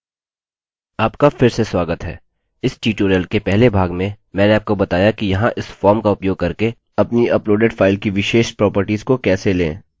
आपका फिर से स्वागत है इस ट्यूटोरियल के पहले भाग में मैंने आपको बताया कि यहाँ इस फॉर्म का उपयोग करके अपनी अपलोडेड फाइल की विशेष प्रोपर्टिज को कैसे लें